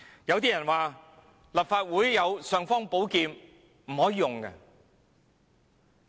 有些人說立法會雖有"尚方寶劍"，但卻不可以用。